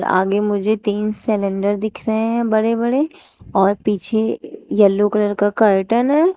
आगे मुझे तीन सिलेंडर दिख रहे हैं बड़े बड़े और पीछे येलो कलर का कर्टन हैं।